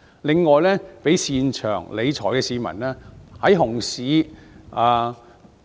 此外，亦讓擅長理財的市民感覺"牛市"到